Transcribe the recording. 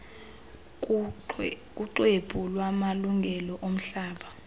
kuxwebhu lwamalungelo omhlaba